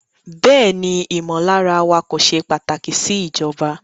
Bẹẹni, imọlara wa ko ṣe pataki si ijọba